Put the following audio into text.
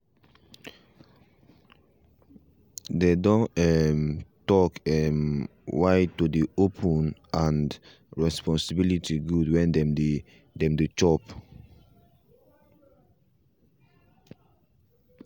they done um talk um why to dey open um and responsibility good when dem dey dem dey chop